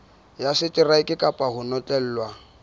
ya seteraeke kapa ho notlellwa